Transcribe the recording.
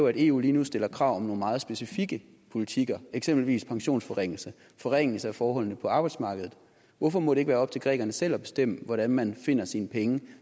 at eu lige nu stiller krav om nogle meget specifikke politikker eksempelvis pensionsforringelser og forringelser af forholdene på arbejdsmarkedet hvorfor må det ikke være op til grækerne selv at bestemme hvordan man finder sine penge